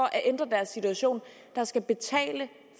at ændre deres situation der skal betale